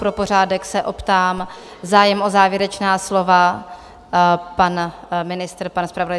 Pro pořádek se optám - zájem o závěrečná slova, pan ministr, pan zpravodaj?